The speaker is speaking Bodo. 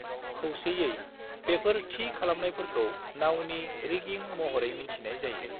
खौसेयै बेफोर थि खालामनायफोरखौ नावनि रिगिं महरै मिन्थिनाय जायो।